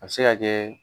A bɛ se ka kɛ